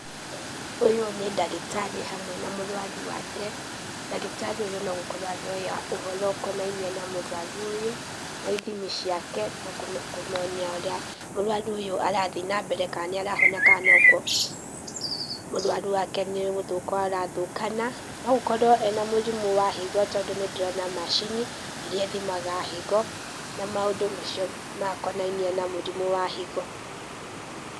Ũyũ nĩ ndagĩtarĩ hamwe na mũrwaru wake , ndagĩtarĩ ũyũ no gũkorwo aroya ũhoro ũkonainie na mũrwaru ũyũ, na ithimi ciake na kũmenya ũrĩa mũrwarũ ũyũ arathĩe na mbere kana nĩ arahona kana no kũ ũrwaru wake nĩ gũthũka ũrathũkana, na gũkorwo ena mũrimũ wa higo, tondũ nĩ ndĩrona macini irĩa ithimaga higo, na maũndũ macio makonainĩe na mũrimũ wa higo.